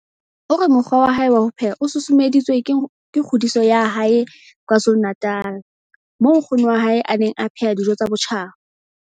O re mokgwa wa hae wa ho pheha o susumeditswe ke kgodiso ya hae KwaZulu-Natal moo nkgono wa hae a neng a pheha dijo tsa botjhaba.